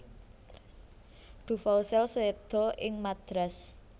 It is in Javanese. Duvaucel séda ing Madras